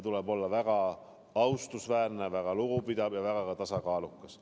Tuleb olla väga austusväärne, väga lugupidav ja ka väga tasakaalukas.